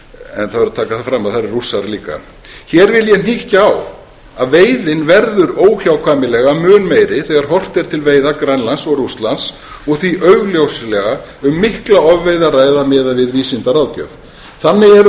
það verður að taka það fram að það eru rússar líka hér vil ég hnykkja á að veiðin verður óhjákvæmilega mun meiri þegar horft er til veiða grænlands og rússlands og því augljóslega um mikla ofveiði að ræða miðað við vísindaráðgjöf þannig eru það veruleg